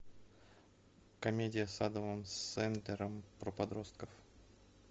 комедия с адамом сэндлером про подростков